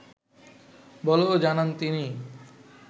বলেও জানান তিনি